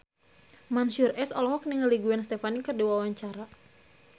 Mansyur S olohok ningali Gwen Stefani keur diwawancara